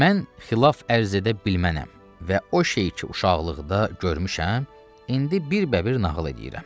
Mən xilaf ərz edə bilmənəm və o şey ki uşaqlıqda görmüşəm, indi birbəbir nağıl eləyirəm.